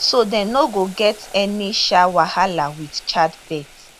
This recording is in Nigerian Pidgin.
so dem no go get any um wahala wit childbirth